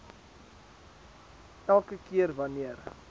elke keer wanneer